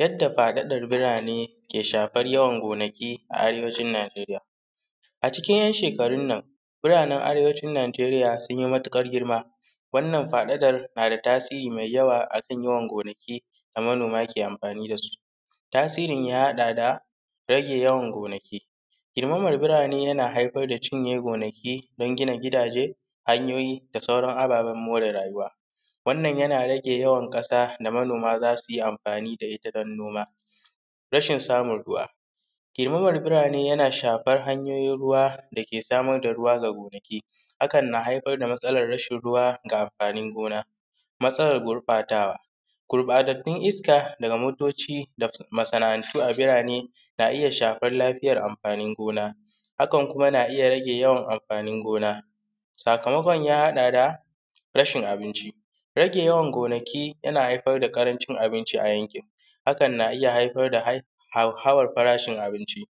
yanda faɗaɗan birane ke shafar yawan gonaki a arewacin najeriya a cikin ‘yan shekarun nan biranen arewacin najeriya sun yi matuƙar girma wannan faɗaɗar na da tasiri mai yawa a kan yawan gonaki da manoma ke amfani da su tasirin ya haɗa da rage yawan gonaki girmaman birane yana haifar da cinye gonaki don gina gidaje hanyoyi da sauran ababen more rayuwa wannan ya na rage yawan ƙasa da manoma za su yi amfani da ita don noma rashin samun ruwa girmaman birane yana shafar hanyoyin ruwa da ke samar da ruwa ga gonaki hakan na haifar da matsalan rashin ruwa ga amfanin gona matsalan gurɓatawa gurɓatattun iska daga motoci da masana’antu a birane na iya shafan lafiyar amfanin gona hakan kuma na iya rage yawan amfanin gona sakamakon ya haɗa da rashin abinci rage yawan gonaki yana haifar da ƙarancin abinci a yanki hakan na iya haifar da hauhawar farashin abinci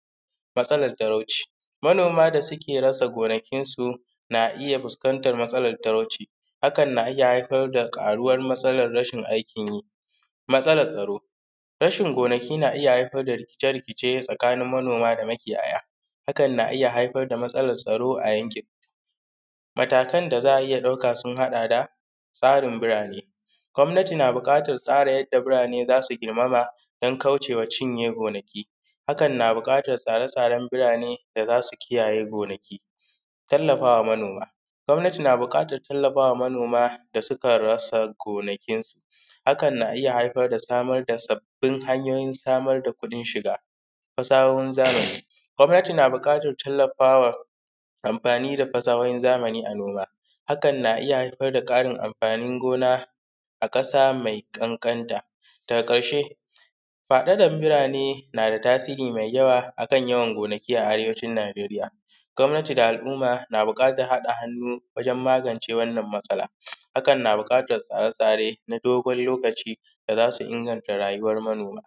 matsalan talauci manoma da suke rasa gonakinsu na iya fuskantar matsalan talauci hakan na iya haifar da ƙaruwan matsalan rashin aikin yi matsalan tsaro rashin gonaki na iya haifar da rikice rikice tsakanin manoma da makiyaya hakan na iya haifar da matsalan tsaro a yankin matakan da za a iya ɗauka sun haɗa da tsarin birane gwamnati na buƙatar tsara yanda birane za su girmama don kaucema cinye gonaki hakan na buƙatar tsare tsaren birane da za su kiyaye gonaki tallafawa manoma gwamnati na buƙatar tallafawa manoma da sukan rasa gonakinsu hakan na iya haifar da samar da sabbin hanyoyin samar da kuɗin shiga sawun zamani gwamnatin na buƙatar tallafawa amfani da fasahohin zamani a noma hakan na iya haifar da ƙarin amfanin gona a ƙasa mai ƙanƙanta daga ƙarshe faɗaɗan birane na da tasiri mai yawa a kan yawan gonaki a arewacin najeriya gwamnati da al’umma na buƙatar haɗa hannu wajen magance wannan matsala hakan na buƙatan tsare tsare na dogon lokaci da za su inganta rayuwan manoma